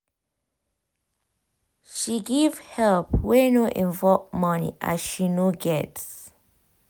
she give help wey no involve money as she no get